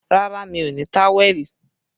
Rárá, mi ò ní táwẹ̀lì